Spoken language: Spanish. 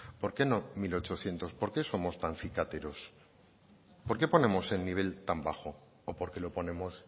por qué no mil ochocientos por qué somos tan cicateros por qué ponemos el nivel tan bajo o por qué lo ponemos